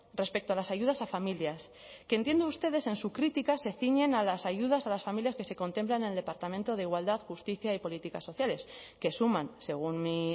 respecto a las ayudas a familias que entiendo ustedes en su crítica se ciñen a las ayudas a las familias que se contemplan en el departamento de igualdad justicia y políticas sociales que suman según mi